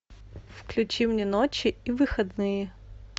включи мне ночи и выходные